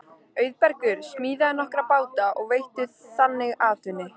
Auðbergur smíðaði nokkra báta og veitti þannig atvinnu.